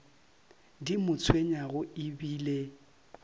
di mo tshwenyago e bile